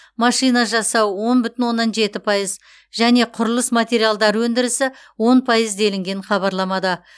машина жасау он бүтін оннан жеті пайыз және құрылыс материалдар өндірісі он пайыз делінген хабарламада